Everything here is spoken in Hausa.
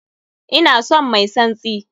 Ina son mai tsantsi!